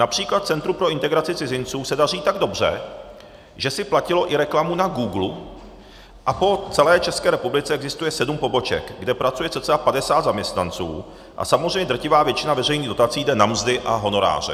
Například Centru pro integraci cizinců se daří tak dobře, že si platilo i reklamu na Googlu, a po celé České republice existuje sedm poboček, kde pracuje cca 50 zaměstnanců, a samozřejmě drtivá většina veřejných dotací jde na mzdy a honoráře.